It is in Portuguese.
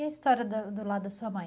E a história da do lado da sua mãe?